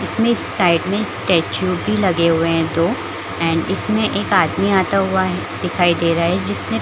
इसमें साइड में स्टेचू भी लगे हुए है दो एंड इसमें एक आदमी आता हुआ दिखाई दे रहा है जिसमें--